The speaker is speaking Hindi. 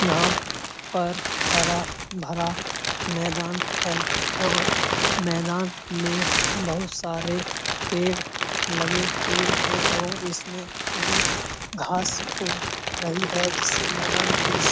यहाँ पर हरा-भरा मैदान है और मैदान में बहुत सारे पेड़ लगे हुए हैं और इसमें हरी घास उग रही है जिससे मैदान की --